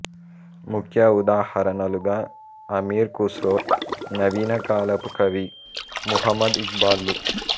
ముఖ్య ఉదాహరణలుగా అమీర్ ఖుస్రో నవీన కాలపు కవి ముహమ్మద్ ఇక్బాల్ లు